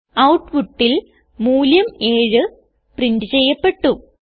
ഔട്ട്പുട്ടിൽ മൂല്യം 7 പ്രിന്റ് ചെയ്യപ്പെട്ടു